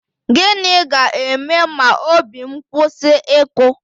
Gịnị ga-eme ma obi m kwụsị ịkụ?